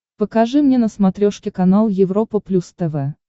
покажи мне на смотрешке канал европа плюс тв